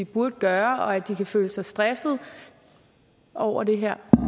burde gøre og at de kan føle sig stressede over det her